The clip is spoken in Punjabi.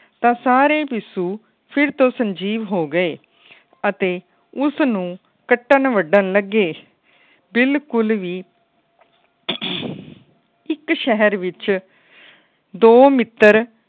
ਤਾ ਸਾਰੇ ਪਿਸੁ ਫਿਰ ਤੋਂ ਸੰਜੀਵ ਹੋ ਗਏ। ਅਤੇ ਉਸ ਨੂੰ ਕੱਟਣ ਵੰਡਣ ਲੱਗੇ ਬਿਲਕੁੱਲ ਵੀ ਇੱਕ ਸ਼ਹਿਰ ਵਿੱਚ ਦੋ ਮਿੱਤਰ